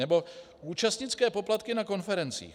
Nebo účastnické poplatky na konferencích.